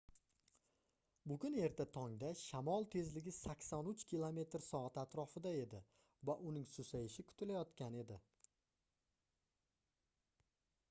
bugun erta tongda shamol tezligi 83 km/s atrofida edi va uning susayishi kutilayotgan edi